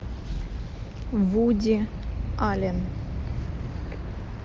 вуди аллен